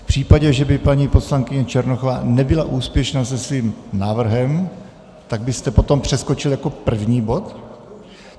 V případě, že by paní poslankyně Černochová nebyla úspěšná se svým návrhem, tak byste potom přeskočil jako první bod?